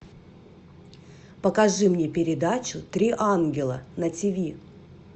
покажи мне передачу три ангела на ти ви